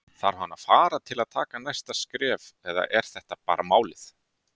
Þarf hann að fara til að taka næsta skref eða er þetta bara málið?